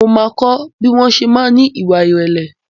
Mo ma kọ́ bí wọn ṣe máa ń ní ìwà irẹ̀lẹ̀